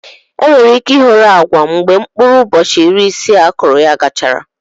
Enwere ike ịhọrọ agwa mgbe mkpụrụ ụbọchị iri isii akụrụ ya gachara.